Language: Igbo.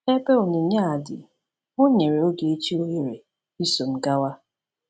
Ebe onyinye a dị, ọ nyere Ogechi ohere iso m gawa!